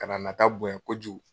Ka na a nata bonya kojugu.